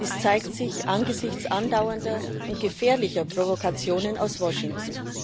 Dies zeigt sich angesichts andauernder und gefährlicher Provokationen aus Washington.